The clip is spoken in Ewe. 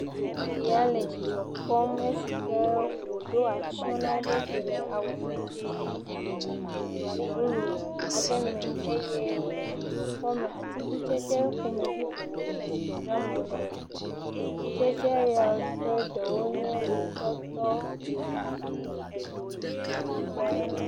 Ɖetugbui ya dzidzɔ kpɔm esike wòɖo atsyɔ na eɖokui le awu didi blu aɖe me, eye wòle dzidzɔ kpɔm le atikutsetse ƒomevi vovovo si dzram wòle, atikutsetse siawo ƒe ɖewo nye atɔtɔ, aŋuti, kpakple…